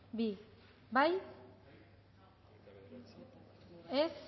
bi bozkatu dezakegu